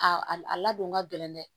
A ladon ka gɛlɛn dɛ